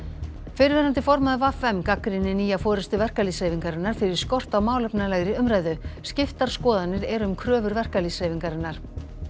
fyrrverandi formaður v m gagnrýnir nýja forystu verkalýðshreyfingarinnar fyrir skort á málefnalegri umræðu skiptar skoðanir eru um kröfur verkalýðshreyfingarinnar